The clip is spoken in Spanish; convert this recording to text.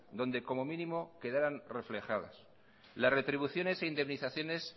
donde como mínimo quedaran reflejadas las retribuciones e indemnizaciones